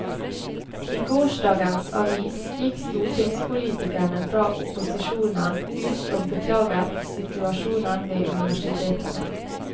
I gårsdagens avis gikk stortingspolitikere fra opposisjonen ut og beklaget situasjonen ved universitetene.